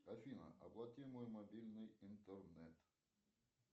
афина оплати мой мобильный интернет